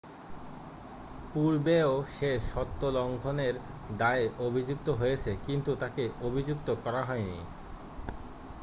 পূর্বেও সে সত্ব লংঘনের দায়ে অভিযুক্ত হয়েছে কিন্তু তাকে অভিযুক্ত করা হয়নি